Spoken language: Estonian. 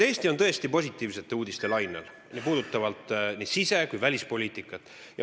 Eesti on tõesti positiivsete uudiste lainel nii sise- kui ka välispoliitikas.